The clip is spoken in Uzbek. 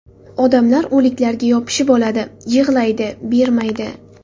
Odamlar o‘liklarga yopishib oladi, yig‘laydi, bermaydi.